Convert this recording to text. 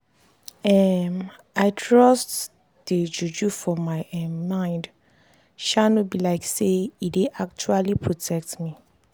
um i trust dey juju for my um mind sha no be like say e dey actually protect me.